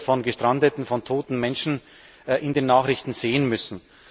Wir haben Bilder von gestrandeten und von toten Menschen in den Nachrichten sehen müssen.